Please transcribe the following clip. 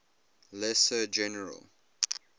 lesser general